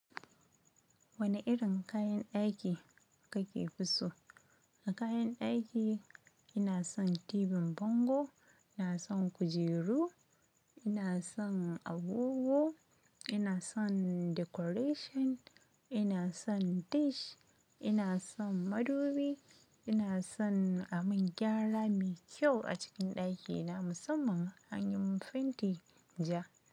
Wane irin kayan ɗaki kake so? A kayan ɗaki ina son tibin bango, ina son kujeru, ina son agogo, ina son decoration, ina son dish, ina son madubi, ina son a min gyara me kyau a cikin ɗakina musamman anyi min fenti ja.